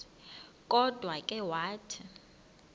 kodwa ke wathi